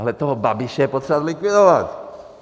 Ale toho Babiše je potřeba zlikvidovat.